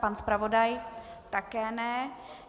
Pan zpravodaj také ne.